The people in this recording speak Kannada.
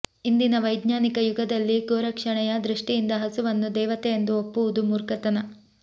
ಇಂದಿನ ವೈಜ್ಞಾನಿಕ ಯುಗದಲ್ಲಿ ಗೋರಕ್ಷಣೆಯ ದೃಷ್ಟಿಯಿಂದ ಹಸುವನ್ನು ದೇವತೆ ಎಂದು ಒಪ್ಪುವುದು ಮೂರ್ಖತನ